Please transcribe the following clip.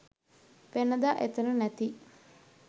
වෙනදා එතන නැති